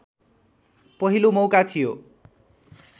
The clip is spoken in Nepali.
पहिलो मौका थियो